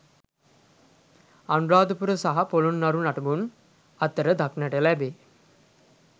අනුරාධපුර සහ පොළොන්නරු නටබුන් අතර දක්නට ලැබේ.